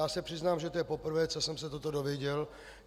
Já se přiznám, že to je poprvé, co jsem se toto dozvěděl.